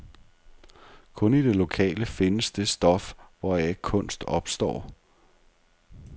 Kun i det lokale findes det stof, hvoraf kunst opstår.